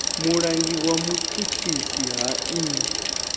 mulangi wa vhutshutshisi ha nnyi